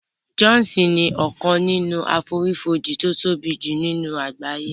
Jọ́òsì ni ọkàn nínú àfonífojì tí ó tóbi jù ní àgbáyé